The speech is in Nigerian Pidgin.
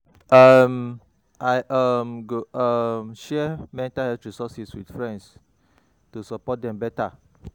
um I um go um share mental health resources with friends to support dem better.